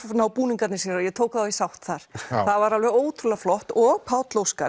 ná búningarnir sér og ég tek þá í sátt þar það var alveg ótrúlega flott og Páll Óskar